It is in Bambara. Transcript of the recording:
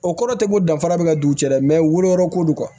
O kɔrɔ tɛ ko danfara bɛ ka don u cɛ dɛ woloyɔrɔ ko do